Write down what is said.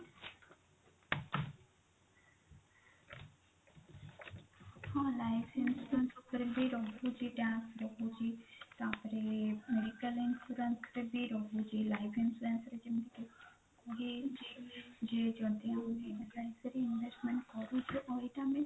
ହଁ life insurance ଉପରେ ବି ରହୁଛି tax ରହୁଛି ତାପରେ medical insurance ରେ ବି ରହୁଛି life insurance ରେ ଯେମିତି କି କି ଯଦି ଆମେ ଏକ କାଳୀନ investment କରୁଛେ ଆଉ ଏଇଟା ଆମେ